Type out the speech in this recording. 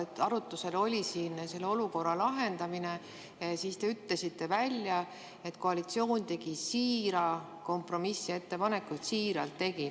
Siis kui arutusel oli selle olukorra lahendamine, te ütlesite välja, et koalitsioon tegi siira kompromissettepaneku, siiralt tegi.